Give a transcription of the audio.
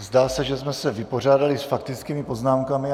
Zdá se, že jsme se vypořádali s faktickými poznámkami.